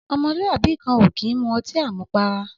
Ọmọ lú àbí kàn ò kiń mú ọti àmúpàrá